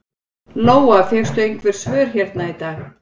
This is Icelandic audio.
Lóa: Fékkstu einhver svör hérna í dag?